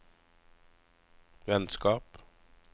vennskap